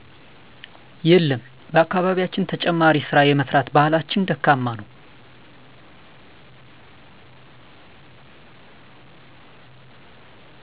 የለም በአካባቢያችን ተጨማሪ ስራ የመስራት ባህላችን ደካማ ነው